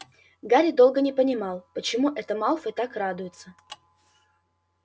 гарри долго не понимал чему это малфой так радуется